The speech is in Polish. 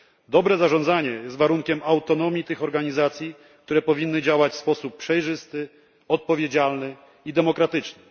Dobre zarządzanie jest warunkiem autonomii tych organizacji, które powinny działać w sposób przejrzysty, odpowiedzialny i demokratyczny.